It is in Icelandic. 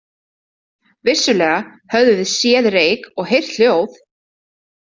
Vissulega höfðum við séð reyk og heyrt hljóð.